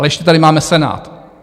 Ale ještě tady máme Senát.